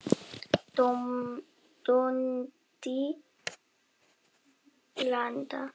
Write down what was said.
Dundi landa!